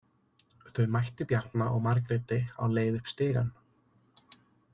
Þau mættu Bjarna og Margréti á leið upp stigann.